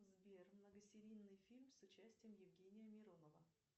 сбер многосерийный фильм с участием евгения миронова